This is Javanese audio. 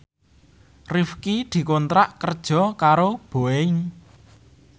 Rifqi dikontrak kerja karo Boeing